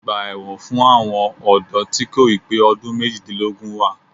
Ọgbà ẹ̀wọ̀n fún àwọn ọ̀dọ́ tí kò ì pé ọdún méjìdínlógún wà